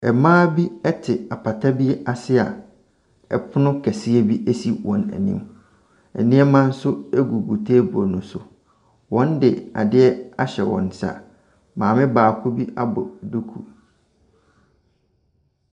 Mmaa bi te apata bi ase a pono kɛseɛ bi si wɔn anim, nneɛma nso gugu table ne so. Wɔde adeɛ ahyɛ wɔn nsa, maame baako bi abɔ duku.